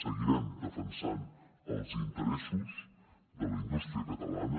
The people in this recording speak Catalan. seguirem defensant els interessos de la indústria catalana